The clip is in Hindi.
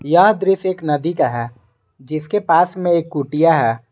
यह दृश्य एक नदी का है जिसके पास में एक कुटिया है।